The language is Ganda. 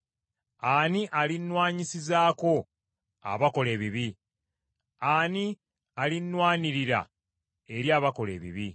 Ani alinnwanyisizaako abakola ebibi? Ani alinnwanirira eri abakola ebibi?